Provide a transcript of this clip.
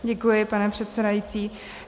Děkuji, pane předsedající.